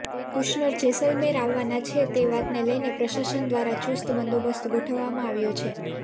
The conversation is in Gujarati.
કુશનર જેસલમેર આવવાના છે તે વાતને લઈને પ્રશાસન દ્વારા ચુસ્ત બંદોબસ્ત ગોઠવવામાં આવ્યો છે